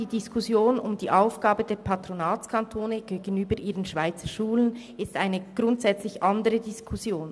Die Diskussion um die Aufgabe der Patronatskantone gegenüber ihren Schweizerschulen ist eine grundsätzlich andere Diskussion.